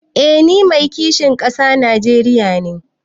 Eh ni Mai kishin kasa na Najeriya ne.